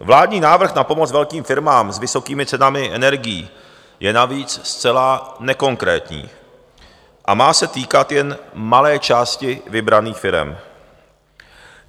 Vládní návrh na pomoc velkým firmám s vysokými cenami energií je navíc zcela nekonkrétní a má se týkat jen malé části vybraných firem.